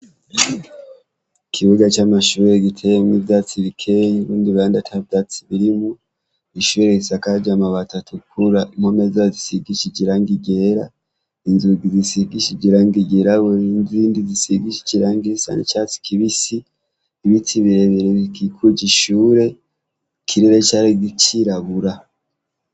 Ikibuga c'amashuri giteyemwo ivyatsi bikeye nurundi ruhande ata vyatsi birimwo, ishuri risakaje amabati atukura, impome zaho zisigishije iragi ryera inzugi zisigishije iragi ryirabura nizindi zisigishije iragi risa n'icatsi kibisi ibiti birebire bikikuja ishure ikirere cari cirabura.